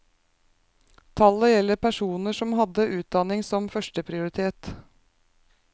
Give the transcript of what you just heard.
Tallet gjelder personer som hadde utdanningen som førsteprioritet.